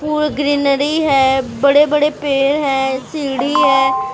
फूल greenery है बड़े -बड़े पेड़ है सीढ़ी है देखने में काफी ।